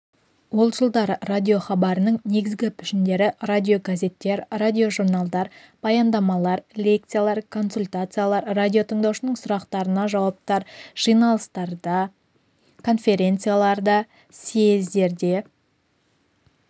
ол жылдары радиохабарының негізгі пішіндері радиогазеттер радиожурналдар баяндамалар лекциялар консультациялар радиотыңдаушылардың сұрақтарына жауаптар жиналыстардан конференция съездерден